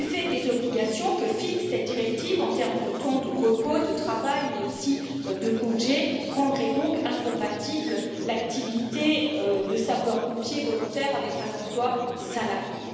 Les obligations que fixe cette directive en termes de temps de repos, de travail, mais aussi de congés rendraient donc incompatible l'activité de sapeurs pompiers volontaires avec un emploi salarié.